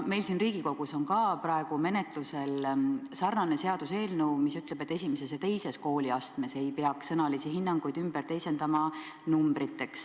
Meil siin Riigikogus on praegu menetluses sarnase sisuga seaduseelnõu, mis ütleb, et esimeses ja teises kooliastmes ei peaks sõnalisi hinnanguid numbriteks teisendama.